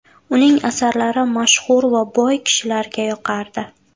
Uning asarlari mashhur va boy kishilarga yoqardi.